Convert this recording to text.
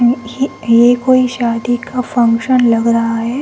ये कोई शादी का फंक्शन लग रहा है।